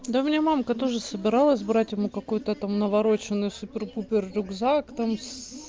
да мне мамка тоже собиралась брать ему какой-то там навороченный супер-пупер рюкзак там с